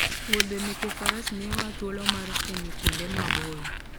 Wuodhe meke faras miyowa thuolo mar fwenyo kuonde maboyo